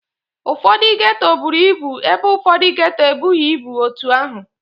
Ụfọdụ geto buru ibu ebe ụfọdọ geto ebughi ebu otu ahụ